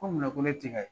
Ko munna ko ne tɛ ka ye